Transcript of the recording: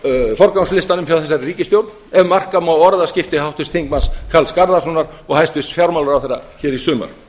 á forgangslistanum hjá þessari ríkisstjórn ef marka má orðaskipti háttvirts þingmanns karls garðarssonar og hæstvirts fjármálaráðherra hér í sumar